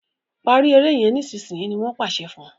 parí èrè yén nísìsiyìí! ní wón pàṣẹ fún.